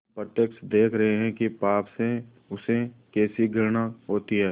हम प्रत्यक्ष देख रहे हैं कि पाप से उसे कैसी घृणा होती है